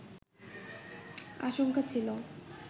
আশঙ্কা ছিলো